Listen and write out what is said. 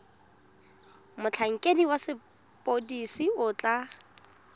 motlhankedi wa sepodisi o tla